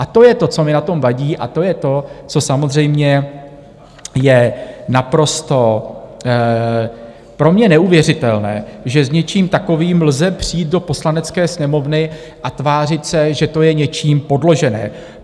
A to je to, co mi na tom vadí, a to je to, co samozřejmě je naprosto pro mě neuvěřitelné, že s něčím takovým lze přijít do Poslanecké sněmovny a tvářit se, že to je něčím podložené.